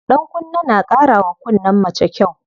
Ɗankunne na ƙara wa kunnen mace kyau.